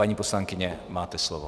Paní poslankyně, máte slovo.